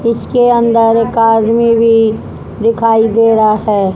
इसके अंदर एक आदमी भी दिखाई दे रहा है।